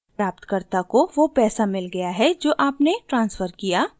प्राप्तकर्ता को वो पैसा मिल गया है जो आपने ट्रान्सफर किया